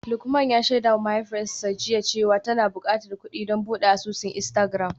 Lukman ya shaidawa mahaifiyarsa jiya cewa tana bukatar kudi don bude asusun Instagram.